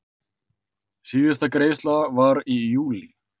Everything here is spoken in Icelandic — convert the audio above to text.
Síðasta greiðsla var í júlí.